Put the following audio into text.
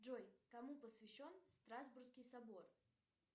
джой кому посвящен страсбургский собор